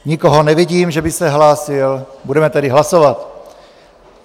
Nikoho nevidím, že by se hlásil, budeme tedy hlasovat.